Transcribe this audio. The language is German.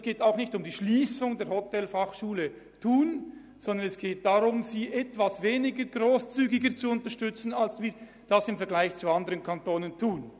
Es geht auch nicht um die Schliessung der Hotelfachschule Thun, sondern darum, sie etwas weniger grosszügig zu unterstützen, als wir dies im Vergleich zu anderen Kantonen tun.